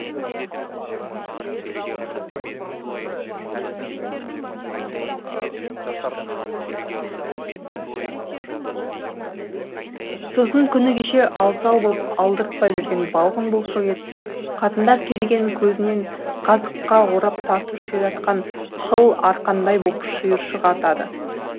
сосын күні кеше ал сал боп алдыртпай жүрген балғын бұлшық ет қатындар керегенің көзінен қазыққа орап тартып ширатқан қыл арқандай боп шиыршық атады